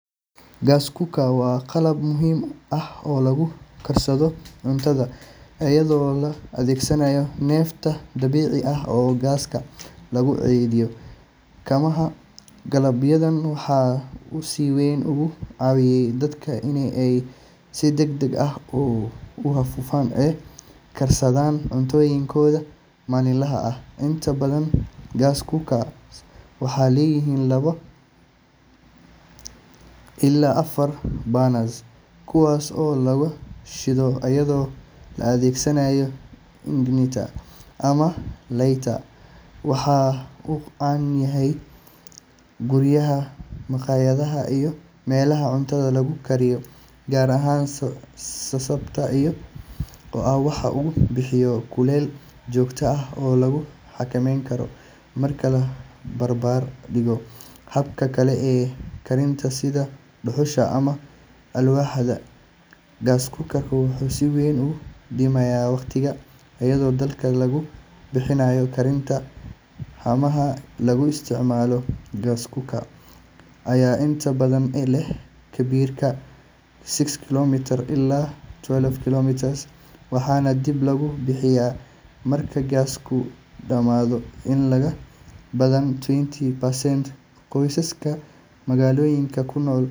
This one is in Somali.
Gas cooker waa qalab muhiim ah oo lagu karsado cuntada iyadoo la adeegsanayo neefta dabiiciga ah ama gaaska lagu keydiyo haamaha. Qalabkan waxa uu si weyn uga caawiyey dadka in ay si degdeg ah oo hufan u karsadaan cuntooyinkooda maalinlaha ah. Inta badan gas cookers waxay leeyihiin laba ilaa afar burners, kuwaas oo laga shido iyadoo la adeegsanayo igniter ama lighter. Waxa uu caan ka yahay guryaha, makhaayadaha, iyo meelaha cuntada lagu kariyo, gaar ahaan sababta oo ah waxa uu bixiyaa kulayl joogto ah oo la xakameyn karo. Marka la barbar dhigo hababka kale ee karinta sida dhuxusha ama alwaaxda, gas cooker wuxuu si weyn u dhimayaa waqtiga iyo dadaalka lagu bixinayo karinta. Haamaha lagu isticmaalo gas cooker ayaa inta badan leh cabbirka six kilograms ilaa twelve kilograms, waxaana dib loogu buuxiyaa marka gaasku dhamaado. In ka badan seventy percent qoysaska magaalooyinka ku nool.